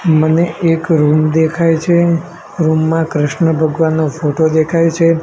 મને એક રૂમ દેખાય છે રૂમ માં કૃષ્ણ ભગવાનનો ફોટો દેખાય છે.